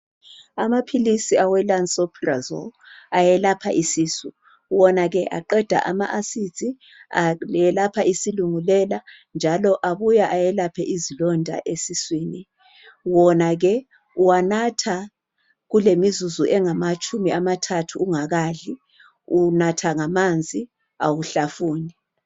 Amaphilisi awe lansoprazole ayelapha isisu wona ke aqeda ama acids, ayelapha isilungulela njalo abuya eyelaphe izilonda esiswini, wona ke uwanatha kulemizuzu engamatshumi amathathu ungakadli, unatha ngamanzi awuhlafuni.